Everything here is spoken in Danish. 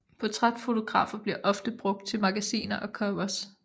Portrætfotografer bliver ofte brugt til magasiner og covers